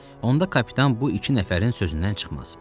Onda kapitan bu iki nəfərin sözündən çıxmaz.